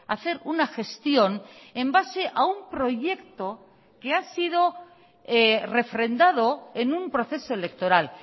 hacer una gestión en base a un proyecto que ha sido refrendado en un proceso electoral